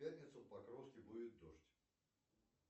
в пятницу в покровске будет дождь